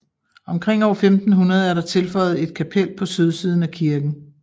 Omkring år 1500 er der tilføjet et kapel på sydsiden af kirken